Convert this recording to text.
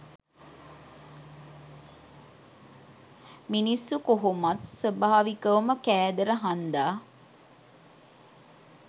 මිනිස්සු කොහොමත් සොබාවිකවකම කෑදර හන්දා